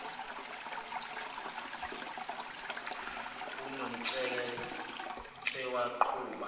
unomtsheke tshe waqhuba